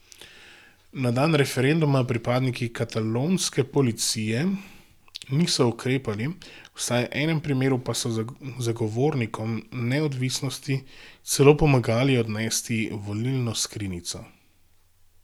Na dan referenduma pripadniki katalonske policije niso ukrepali, vsaj v enem primeru pa so zagovornikom neodvisnosti celo pomagali odnesti volilno skrinjico.